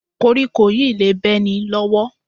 Kóríkó yìí le bẹ́ ni lọ́wọ́